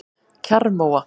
Kjarrmóa